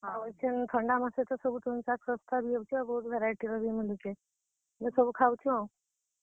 ଆଉ ଇଛେନ୍ ଥଣ୍ଡା ମାସେ ତ ସବୁ ତୁନ୍, ଶାଗ ଶସ୍ତା ବି ହେଉଛେ ଆଉ ବହୁତ୍ variety ର ବି ମିଲୁଛେ, ବେଲେ ସବୁ ଖାଉଛୁଁ ଆଉ।